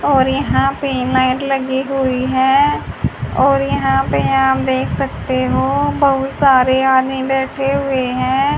और यहां पे लाइट लगी हुई है और यहां पे आप देख सकते हो बहुत सारे आदमी बैठे हुए हैं।